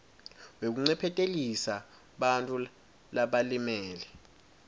wekuncephetelisa bantfu labalimele